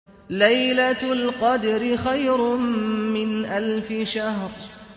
لَيْلَةُ الْقَدْرِ خَيْرٌ مِّنْ أَلْفِ شَهْرٍ